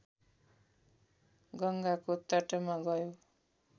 गङ्गाको तटमा गयो